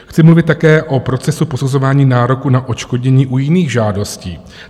Chci mluvit také o procesu posuzování nároku na odškodnění u jiných žádostí.